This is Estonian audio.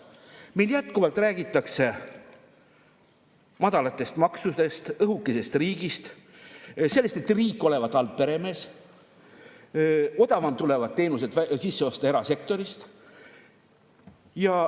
Meil jätkuvalt räägitakse madalatest maksudest, õhukesest riigist, sellest, et riik olevat halb peremees ja odavam on teenuseid sisse osta erasektorist.